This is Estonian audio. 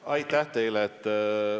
Aitäh teile!